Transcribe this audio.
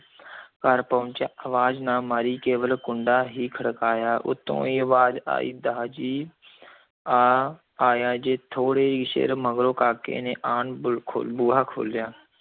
ਘਰ ਪਹੁੰਚਿਆ, ਅਵਾਜ਼ ਨਾ ਮਾਰੀ, ਕੇਵਲ ਕੁੰਡਾ ਹੀ ਖੜਕਾਇਆ, ਉੱਤੋਂ ਹੀ ਅਵਾਜ਼ ਆਈ, ਦਾ ਜੀ ਆ ਆਇਆ ਜੇ, ਥੋੜ੍ਹੇ ਹੀ ਚਿਰ ਮਗਰੋਂ ਕਾਕੇ ਨੇ ਆਣ ਬੂ ਖੋ ਬੂਹਾ ਖੋਲ੍ਹਿਆ।